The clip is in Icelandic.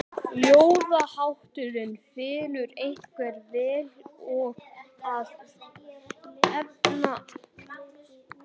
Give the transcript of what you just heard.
Ljóðahátturinn fellur einkar vel að efni kvæðisins.